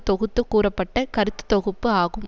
தொகுத்து கூறப்பட்ட கருத்து தொகுப்பு ஆகும்